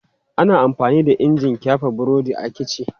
Ana amfani da injin ƙyafe burodi a kici.